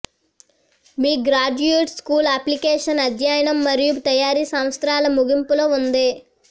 మీ graduate school application అధ్యయనం మరియు తయారీ సంవత్సరాల ముగింపులో ఉంది